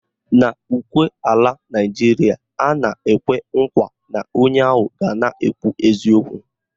N'ukwe ala Naịjiria, a na-ekwe nkwa na onye ahụ ga na-ekwu eziokwu